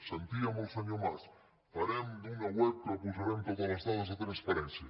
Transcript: sentíem el senyor mas farem una web en què posarem totes les dades de transpa·rència